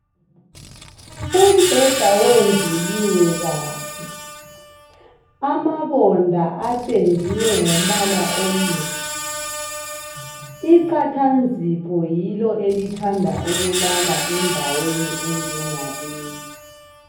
Umbheda wendluliwe kahle, amabonda apendiwe ngompala omuhle. Iqathanzipho yilo elithanda ukulala endaweni enjengaleyi.